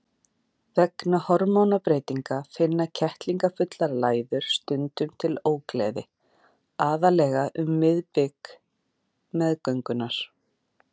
Vegna hormónabreytinga finna kettlingafullar læður stundum til ógleði, aðallega um miðbik meðgöngunnar.